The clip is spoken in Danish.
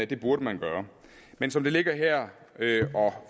det burde man gøre men som det ligger her og